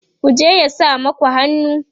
ku je ya sa maku hannu!